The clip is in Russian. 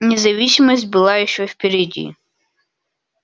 независимость была ещё впереди